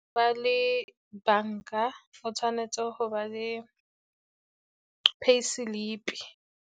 Go ba le banka, o tshwanetse go ba le pay slip-e.